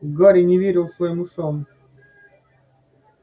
гарри не верил своим ушам